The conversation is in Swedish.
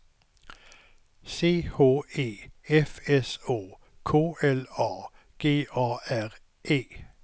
C H E F S Å K L A G A R E